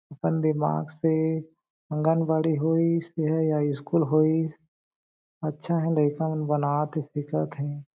अपन दिमाग से आंगनबाड़ी होईस ऐ स्कूल होइस अच्छा हें लइका मन बनात हें सीखत हें।